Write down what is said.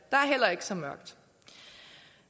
er ikke så mørkt